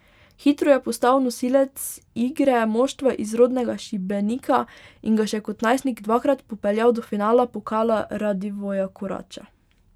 Hitro je postal nosilec igre moštva iz rodnega Šibenika in ga še kot najstnik dvakrat popeljal do finala Pokala Radivoja Koraća.